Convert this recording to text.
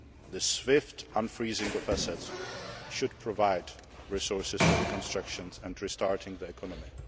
The swift unfreezing of assets should provide resources for reconstruction and restarting the economy.